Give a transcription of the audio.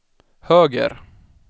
höger